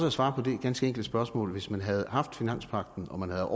at svare på det ganske enkle spørgsmål hvis man havde haft finanspagten og man havde